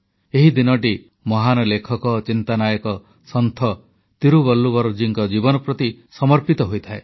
ଏହି ଦିନଟି ମହାନ ଲେଖକ ଚିନ୍ତାନାୟକ ସନ୍ଥ ତିରୁବଲ୍ଲୁବରଜୀଙ୍କ ଜୀବନ ପ୍ରତି ସମର୍ପିତ ହୋଇଥାଏ